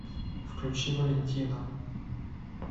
включи валентина